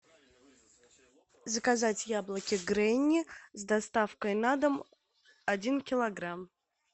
заказать яблоки гренни с доставкой на дом один килограмм